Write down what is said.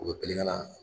U bɛ girin ka na